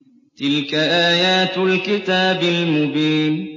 تِلْكَ آيَاتُ الْكِتَابِ الْمُبِينِ